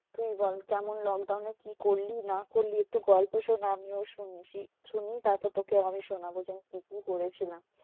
তুই বল কেমন lockdown এ কি করলি না করলি একটু গল্প শোনা? আমিও শুনছি শুনি তারপর তোকে আমি শোনাবো যে কি কি করেছিলাম?